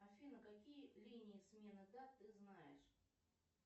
афина какие линии смены дат ты знаешь